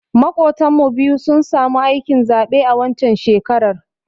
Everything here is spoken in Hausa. Maƙotan mu biyu sun samu aikin zaɓe a waccan shekarar